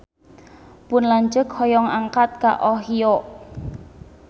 Pun lanceuk hoyong angkat ka Ohio